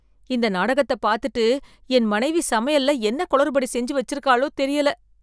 இந்த நாடகத்த பாத்துட்டு என் மனைவி சமையல்ல என்ன கொளறுப்படி செஞ்சி வச்சிருக்காலோ தெரியல